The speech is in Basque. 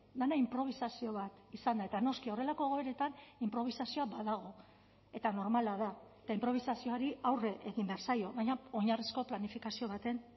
dena inprobisazio bat izan da eta noski horrelako egoeretan inprobisazioa badago eta normala da eta inprobisazioari aurre egin behar zaio baina oinarrizko planifikazio baten